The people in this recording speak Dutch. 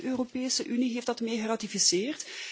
Ook de Europese Unie heeft dat mee geratificeerd.